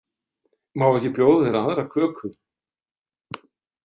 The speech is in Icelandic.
Má ekki bjóða þér aðra köku?